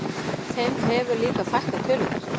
Þeim hefur líka fækkað töluvert